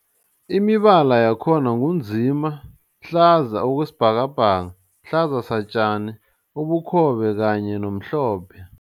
Imibala yakhona ngu nzima, hlaza okwesibhakabhaka, hlaza satjani, ubukhobe kanye nomhlophe.